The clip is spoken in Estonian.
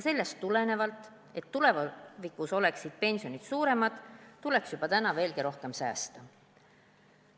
Selleks, et tulevikus oleksid pensionid suuremad, tuleks juba täna veelgi rohkem säästa.